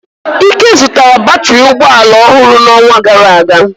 Ike zụtara batrị ụgbọ ala ọhụrụ n'ọnwa gara aga.